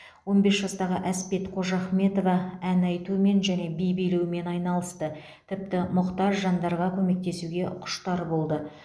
он бес жастағы әспет қожахметова ән айтумен және би билеумен айналысты тіпті мұқтаж жандарға көмектесуге құштар болды